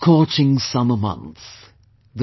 The scorching summer month,